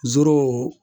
Zoro